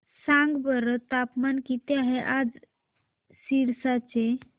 सांगा बरं तापमान किती आहे आज सिरसा चे